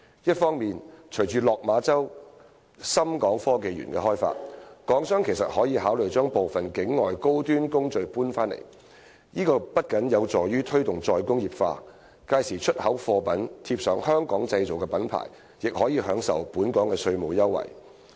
一方面，隨着落馬洲港深創新及科技園的開發，港商其實可以考慮把部分境外的高端工序搬回來，這不僅有助於推動"再工業化"，屆時出口貨物貼上"香港製造"品牌，亦可以享受本港的稅務優惠。